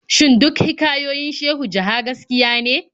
Shin duk hikayoyin Shehu Jaha gaskiya ne?